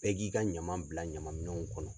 Bɛɛ k'i ka ɲaman bila ɲamanminɛw kɔnɔ.